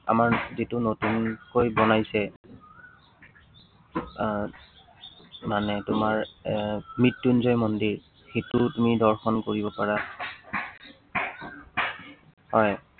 আমাৰ যিটো নতুনকৈ বনাইছে আহ মানে তোমাৰ আহ মৃত্য়ুঞ্জয় মন্দিৰ, সেইটোও তুমি দৰ্শন কৰিব পাৰা হয়।